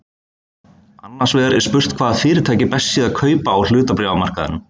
Annars vegar er spurt hvaða fyrirtæki best sé að kaupa á hlutabréfamarkaðinum.